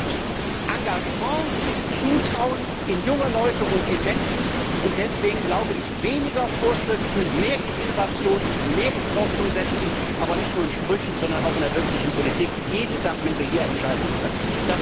Wir brauchen Mut, Engagement und Zutrauen in Menschen und insbesondere in junge Leute. Deswegen glaube ich Weniger Vorschriften und mehr auf Innovation und Forschung setzen, aber nicht nur in Sprüchen, sondern auch in der wirklichen Politik, jeden Tag, wenn wir hier Entscheidungen treffen.